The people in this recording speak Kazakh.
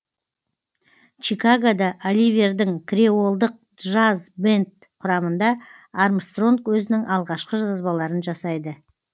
чикагода оливердің креолдық джаз бэнд құрамында армстронг өзінің алғашқы жазбаларын жасайды